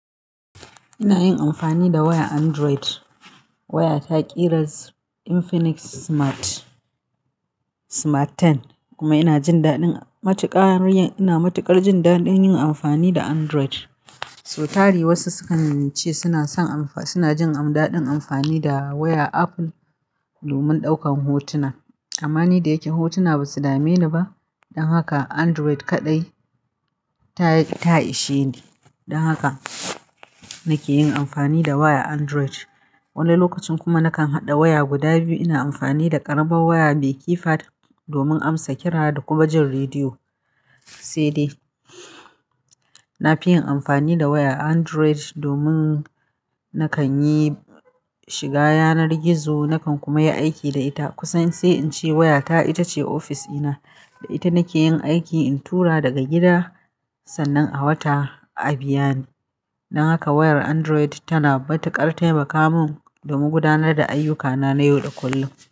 Ina yin amfani da wayar Android, waya ta kiras Infinix smart Smart 10 kuma ina jin daɗin matuƙar, ina matuƙar jin daɗin yin amfani da Android. So tari wasu sukan ce suna son amfa, suna jin daɗin amfani da waya Apple domin ɗaukan hotuna. Amma ni da yake hotuna ba su dame ni ba. Don haka Android kaɗai ta, ta ishe ni. Don haka nake yin amfani da waya Android. Wani lokacin kuma nakan haɗa waya guda biyu. Ina amfani da ƙaraben waya mai keypad domin amsa kira da kuma jin rediyo. Sai dai na fi yin amfani da wayar Android domin nakan yi shiga yanar gizo, nakan kuma yi aiki da ita kusan sai in ce wayata ita ce ofis ɗina. Da ita nake yin aiki in tura daga gida sannan a wata a biya ni. Don haka wayar Android tana matuƙar taimaka mun domin gudanar da ayyukana na yau da kullum.